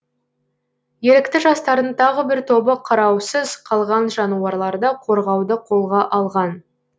ерікті жастардың тағы бір тобы қараусыз қалған жануарларды қорғауды қолға алған